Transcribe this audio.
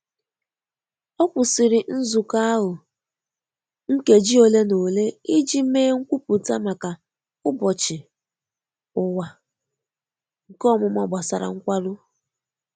Ọ kwụsiri nzuko ahụ nkeji ole na ole iji mee nkwụpụta maka Ụbochi Ụwa nke omuma gbasara Nkwarụ.